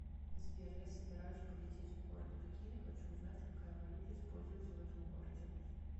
сбер я собираюсь полететь в город пекин и хочу узнать какая валюта используется в этом городе